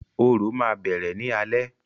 Orò ma bẹrẹ ni alẹ.